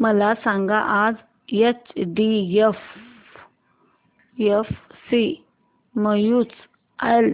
मला सांगा आज एचडीएफसी म्यूचुअल